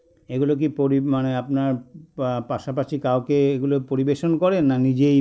এগুলো কী পরি মানে আপনার বা পাশাপাশি কাউকে এগুলো পরিবেশন করেন না নিজেই